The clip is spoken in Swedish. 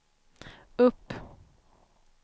upp